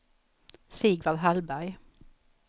Sigvard Hallberg